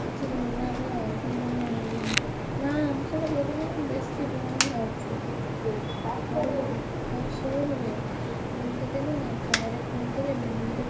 କିଛି ଦଉନି ନା ବା ସିଏ ମାନେ ମୁ ସେଗୁଡା ଲଗେଇଲାବେଳକୁ ବେଶୀ ବ୍ରଣ ବାହାରୁଛି ହଉଲୋ ହଉ ଶୁଣ ବେ, ମୁଁ ତତେ ନୁହେଁ ନା ପରେ phone କରିମି।